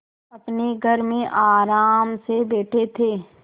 अपने घर में आराम से बैठे थे